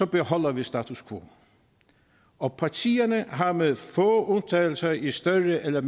beholder vi status quo og partierne har med få undtagelser i større eller